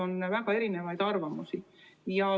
On väga erinevaid arvamusi.